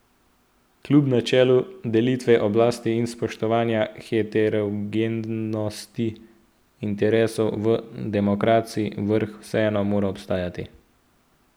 Kljub načelu delitve oblasti in spoštovanja heterogenosti interesov v demokraciji vrh vseeno mora obstajati.